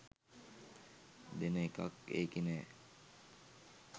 දෙන එකක් ඒකෙ නෑ.